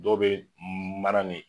Dɔw be mana ne